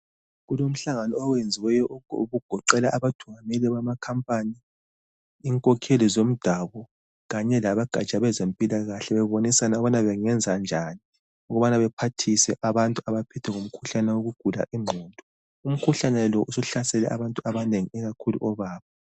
Kulomhlangano owenziweyo okugoqela abathungameli bamankampani, inkokheli zomdabu kanye labogatsha lwezempilakahle bebonisana ukubana bengenzenjani ukubana bephathise abantu abaphethwe ngumkhuhlane wokugula ingqondo. Umkhuhlane lo usuhlasele abantu abanengi ikakhulu obaba.